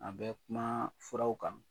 An bɛ kuma furaw kan